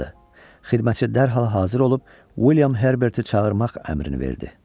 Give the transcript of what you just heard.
Xidmətçi dərhal hazır olub William Herberti çağırmaq əmrini verdi.